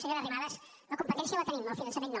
senyora arrimadas la competència la tenim el finançament no